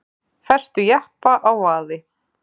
Festu jeppa á vaði